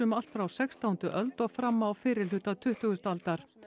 allt frá sextándu öld og fram á fyrri hluta tuttugustu aldar